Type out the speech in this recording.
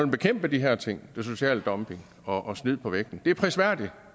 bekæmpe de her ting social dumping og snyd på vægten det er prisværdigt og